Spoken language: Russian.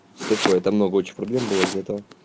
что такое тамагочи проблем было из-за этого